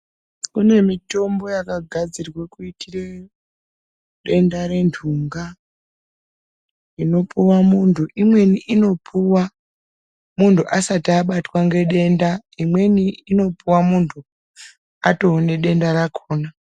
Kunemitombo yakagadzirwe kuyitire denda rendhunga, inopuwa munthu. Imweni inopuwa munthu asati abatwa ngedenda. Imweni inopuwa munthu atove nedenda rakhona.